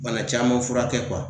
Bana caman fura kɛ